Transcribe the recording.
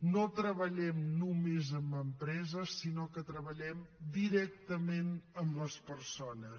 no treballem només amb empreses sinó que treballem directament amb les persones